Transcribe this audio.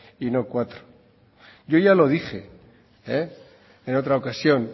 y no cuatro yo ya lo dije en otra ocasión